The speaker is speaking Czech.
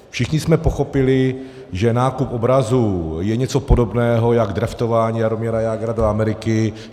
Všichni jsme pochopili, že nákup obrazů je něco podobného jako draftování Jaromíra Jágra do Ameriky.